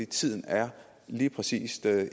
tiden er lige præcis